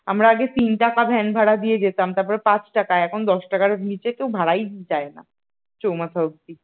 আমরা আগে তিন টাকা ভ্যান ভাড়া দিয়ে যেতাম তারপর পাঁচ টাকা এখন দশ টাকার নিচে কেউ ভাড়ায় চায় না চৌমাথা অব্দি